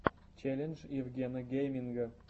челлендж евгена гейминга